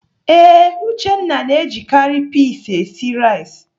Ee, Uchenna na-ejikarị pis esi nri.